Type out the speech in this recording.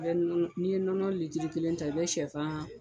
I bɛ nɔnɔ, ni ye nɔnɔ kelen ta, i bɛ sɛfan